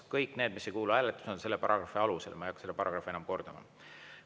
Kõik need, mis ei kuulu hääletusele, on selle paragrahvi alusel, ma ei hakka seda paragrahvi enam kordama.